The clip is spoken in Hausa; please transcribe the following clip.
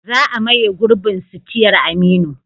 Za a maye gurbin sitiyar Aminu.